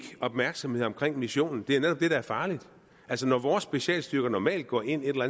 opmærksomhed omkring missionen det er netop det der er farligt altså når vore specialstyrker normalt går ind et eller